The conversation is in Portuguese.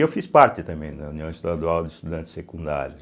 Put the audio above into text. Eu fiz parte também da União Estadual de Estudantes Secundários.